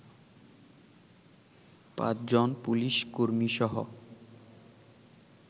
পাঁচজন পুলিশ কর্মীসহ